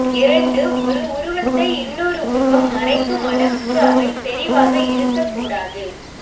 இரண்டு ஒரு உருகத்தை இன்னொரு உருவகம் மறைக்கும் அளவுக்கு அவை செறிவாக இருக்கக் கூடாது